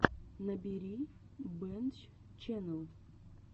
набери бэнччэннел